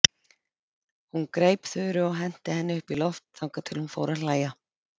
Hún greip Þuru og henti henni upp í loft þangað til hún fór að hlæja.